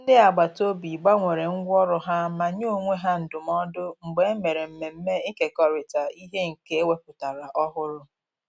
Ndị agbataobi gbanwere ngwa ọrụ ha ma nye onwe ha ndụmọdụ mgbe e mere mmemme ikekorita ihe nke e wepụtara ọhụrụ